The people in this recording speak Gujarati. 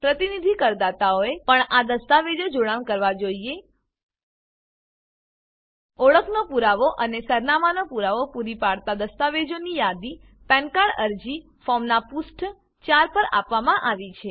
પ્રતિનિધિ કરદાતાઓએ પણ આ દસ્તાવેજો જોડાણ કરવા જોઈએ ઓળખનો પુરાવો અને સરનામાંનો પુરાવો પૂરી પાડતી દસ્તાવેજોની યાદી પેન કાર્ડ અરજી ફોર્મનાં પુષ્ઠ 4 પર આપવામાં આવી છે